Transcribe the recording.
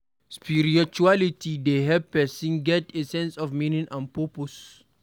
Spirituality dey help person get a sense of meaning and purpose